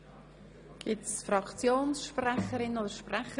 Gibt es Fraktionssprecherinnen oder sprecher?